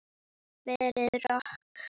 Verður rok.